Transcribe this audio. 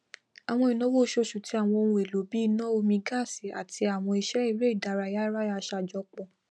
àwọn ináwó oṣooṣù ti àwọn ohun èlò bíi iná omi gaasi àti àwọn iṣẹ eré ìdárayá yara ṣàjọpọ